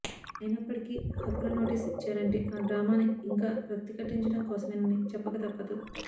అయినప్పటికీ హక్కుల నోటీస్ ఇచ్చారంటే ఆ డ్రామాని ఇంకా రక్తి కట్టించడం కోసమేనని చెప్పక తప్పదు